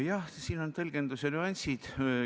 Jah, siin on tõlgenduse nüansid.